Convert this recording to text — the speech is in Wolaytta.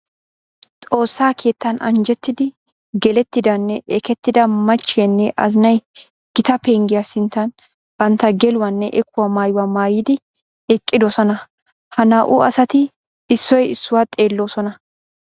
Xoosa keettan anjjettiddi gelettidanne ekketidda machiyanne azinay gita penggiya sinttan bantta geluwanne ekkuwa maayuwa maayiddi eqidosnna. Ha naa'u asatti issoy issuwa xeelosonna.